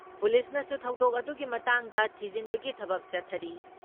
ꯄꯨꯂꯤꯁꯅꯁꯨ ꯊꯧꯗꯣꯛ ꯑꯗꯨꯒꯤ ꯃꯇꯥꯡꯗ ꯊꯤꯖꯤꯟꯕꯒꯤ ꯊꯕꯛ ꯆꯠꯊꯔꯤ ꯫